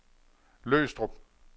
Løgstrup